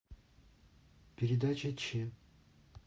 передача че